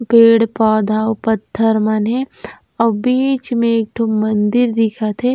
पेड़-पौधा आऊ पत्थर मन हे आऊ बीच में एक ठो मंदिर दिखत हे।